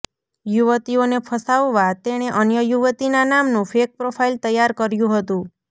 યુવતીઓને ફસાવવા તેણેે અન્ય યુવતીના નામનું ફેક પ્રોફાઇલ તૈયાર કર્યુ હતું